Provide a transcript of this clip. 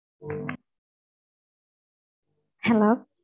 Hello